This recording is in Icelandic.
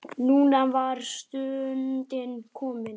Núna var stundin komin.